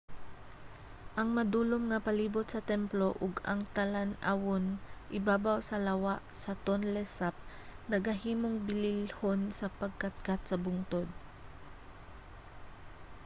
ang madulom nga palibut sa templo ug ang talan-awon ibabaw sa lawa sa tonle sap nagahimong bililhon sa pagkatkat sa bungtod